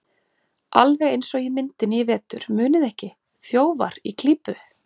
Alveg eins og í myndinni í vetur, muniði ekki: ÞJÓFAR Í KLÍPU.